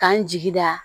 K'an jigi da